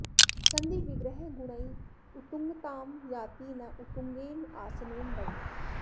सन्धि विग्रह गुणैः उत्तुंगतां याति न उत्तुंगेन आसनेन वै